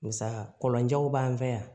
Musaka kɔlɔnjanw b'an fɛ yan